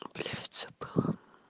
блять забыла